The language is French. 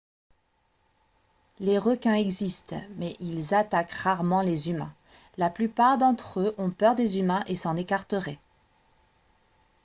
les requins existent mais ils attaquent rarement les humains la plupart d'entre eux ont peur des humains et s'en écarteraient